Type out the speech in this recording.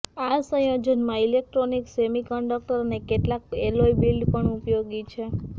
આ સંયોજન માં ઇલેક્ટ્રોનિક્સ સેમિકન્ડક્ટર અને કેટલાક એલોય બિલ્ડ પણ ઉપયોગી છે